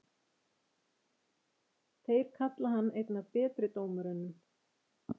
Þeir kalla hann einn af betri dómurunum?